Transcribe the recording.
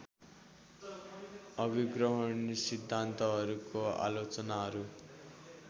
अभिग्रहण सिद्धान्तहरूको आलोचनाहरू